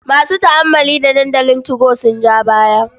Masu tu'ammali da dandalin 2go sun ja baya.